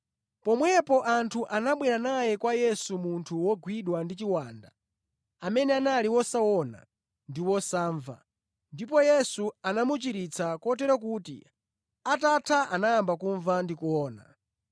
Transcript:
Pomwepo anthu anabwera naye kwa Yesu munthu wogwidwa ndi chiwanda amene anali wosaona ndi wosamva ndipo Yesu anamuchiritsa kotero kuti atatha anayamba kumva ndi kuona.